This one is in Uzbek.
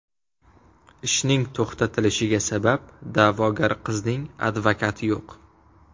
Ishning to‘xtalishiga sabab, da’vogar qizning advokati yo‘q.